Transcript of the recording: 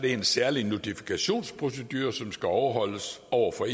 en særlig notifikationsprocedure som skal overholdes over for